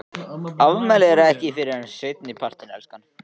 Afmælið er ekki fyrr en seinni partinn, elskan.